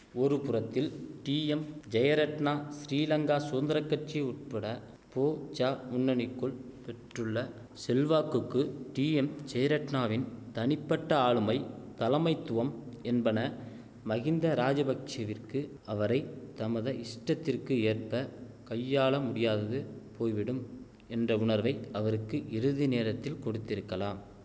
ஒரு புறத்தில் டீஎம் ஜெயரட்ணா சிறிலங்கா சுதந்திர கட்சி உட்பட போஜா முன்னணிக்குள் பெற்றுள்ள செல்வாக்குக்கு டீஎம் ஜெயரட்ணாவின் தனிப்பட்ட ஆளுமை தலமைத்துவம் என்பன மகிந்த ராஜபக்ஷெவிற்கு அவரை தமது இஷ்டத்திற்கு ஏற்ப கையாள முடியாதது போய்விடும் என்ற உணர்வை அவருக்கு இறுதிநேரத்தில் கொடுத்திருக்கலாம்